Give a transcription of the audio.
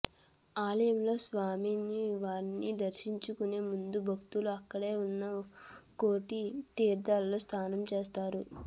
ఆలయంలో స్వామి వారిని దర్శించుకునే ముందు భక్తులు అక్కడే ఉన్న కోటి తీర్థంలో స్నానం చేస్తారు